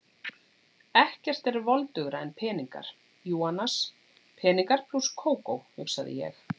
Ekkert er voldugra en peningar, jú annars, peningar plús Kókó, hugsaði ég.